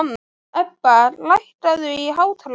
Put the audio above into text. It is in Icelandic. Ebba, lækkaðu í hátalaranum.